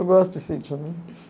Eu gosto de sítio, né?